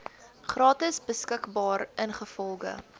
gratis beskikbaar ingevolge